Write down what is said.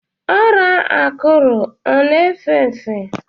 Ọrịa akuru ọ na efe efe?